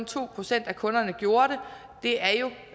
to procent af kunderne der gjorde det